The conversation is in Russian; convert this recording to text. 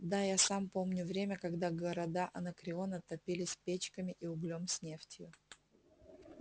да я сам помню время когда города анакреона топились печками с углем и нефтью